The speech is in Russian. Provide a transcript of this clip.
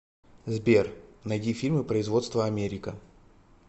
сбер найди фильмы производства америка